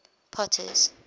potter's